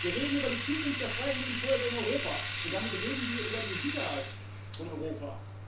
Wir reden über die Zukunft der freiwilligen Feuerwehr in Europa, und damit reden wir über die Sicherheit von Europa.